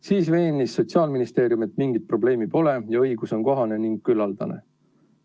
Siis veenis Sotsiaalministeerium, et mingit probleemi pole ja õigus on kohane ning küllaldane.